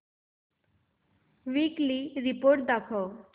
weekly report दाखव